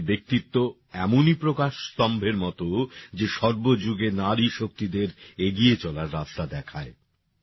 তাঁদের ব্যক্তিত্ব এমনই প্রকাশ স্তম্ভের মত যে সর্ব যুগে নারী শক্তিদের এগিয়ে চলার রাস্তা দেখায়